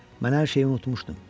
Mən hər şeyi unutmuşdum.